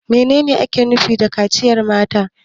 Menene ake nufi da kaciyar mata?